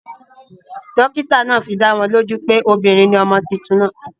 Dókítà naa fidáwo lójú pé obìnrin ni ọmọ tuntun naa